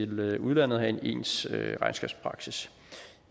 med udlandet og have en ens regnskabspraksis